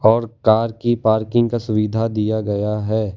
और कार की पार्किंग का सुविधा दिया गया है।